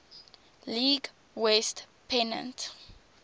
league west pennant